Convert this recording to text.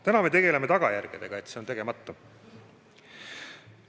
Täna me tegeleme tagajärgedega: see on tegemata.